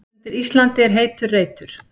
Undir Íslandi er heitur reitur.